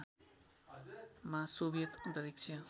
मा सोभियत अन्तरिक्ष